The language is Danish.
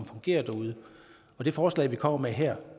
fungerer derude det forslag vi kommer med her